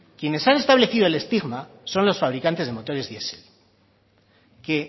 quienes han establecido el estigma son los fabricantes de motores diesel que